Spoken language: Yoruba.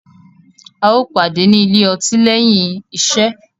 A yóò pàdé ni ilye ọtí lẹhin iṣẹ.